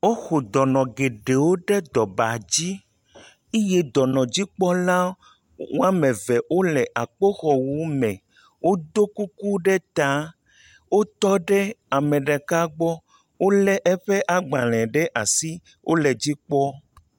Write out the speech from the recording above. Woxɔ dɔnɔ geɖee wo ɖe dɔnɔ ba dzi eye dɔnɔdzikpɔlawo woame eve wole akpoxɔwu me woɖɔ kuku ɖe ta wotɔ ɖe ame ɖeka gbɔ wolé eƒe agbalẽ ɖe asi wole edzi kpɔ.